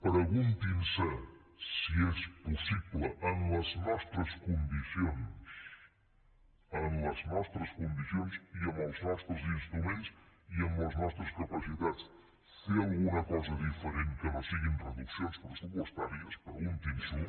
preguntin se si és possible en les nostres condicions en les nostres condicions i amb els nostres instruments i amb les nostres capacitats fer alguna cosa diferent que no siguin reduccions pressupostàries preguntin s’ho